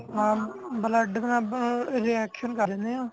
ਹਾਂ blood ਨਾਲ reaction ਕਰ ਜਾਂਦੇ ਆ